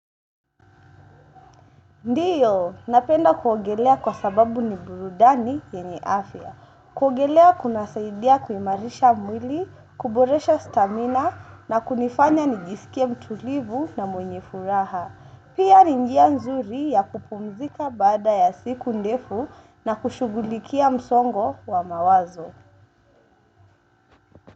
Ndiyo, napenda kuogelea kwa sababu ni burudani yenye afya. Kuogelea kuna saidia kuimarisha mwili, kuboresha stamina na kunifanya nijisikia mtulivu na mwenye furaha. Pia ni njia nzuri ya kupumzika baada ya siku ndefu na kushugulikia msongo wa mawazo.